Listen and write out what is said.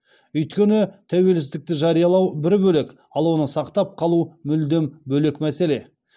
өйткені тәуелсіздікті жариялау бір бөлек ал оны сақтап қалу мүлдем бөлек мәселе